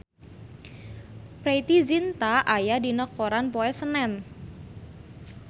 Preity Zinta aya dina koran poe Senen